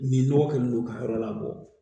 Nin nɔgɔ kɛlen don ka yɔrɔ labɔ